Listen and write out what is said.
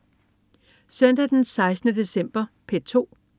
Søndag den 16. december - P2: